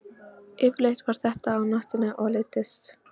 Yfirleitt var þetta á nóttunni og þeir leiddust.